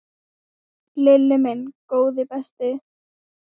Lilli minn, góði besti.